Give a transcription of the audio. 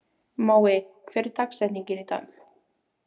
Mói, hver er dagsetningin í dag?